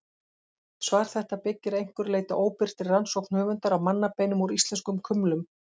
Svar þetta byggir að einhverju leyti á óbirtri rannsókn höfundar á mannabeinum úr íslenskum kumlum.